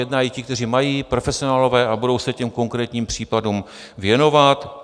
Jednají i ti, kteří mají, profesionálové, a budou se těm konkrétním případům věnovat.